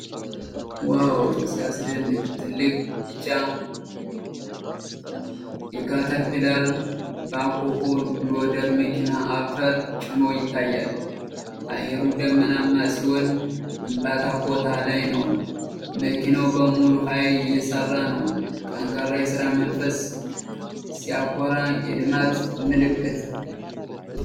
ዋው ሲያስደንቅ! ትልቅ ቢጫ የካተርፒላር ባኮሆ ሎደር መኪና አፈር ጭኖ ይታያል። አየሩ ደመናማ ሲሆን ግንባታ ቦታ ላይ ነው። መኪናው በሙሉ ኃይል እየሰራ ነው። ጠንካራ የሥራ መንፈስ ሲያኮራ! የልማት ምልክት!